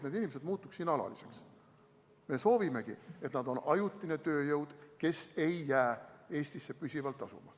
Me soovimegi, et nad oleks ajutine tööjõud, kes ei jää Eestisse püsivalt asuma.